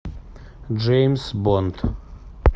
джеймс бонд